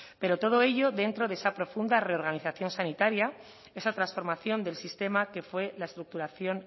pero todo ello dentro de esa profunda reorganización sanitaria esa transformación del sistema que fue la estructuración